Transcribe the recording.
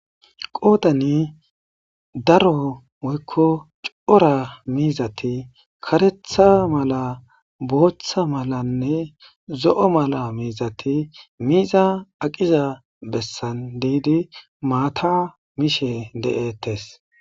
Qoodan daaro woyiko coraa mizzaththi karetha maala botha maala nne zo maala mizaththi miza aqqiza bessan deedi maaththa mishshe deetts.